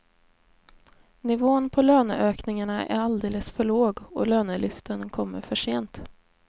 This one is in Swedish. Nivån på löneökningarna är alldeles för låg och lönelyften kommer för sent.